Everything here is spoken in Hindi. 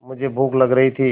मुझे भूख लग रही थी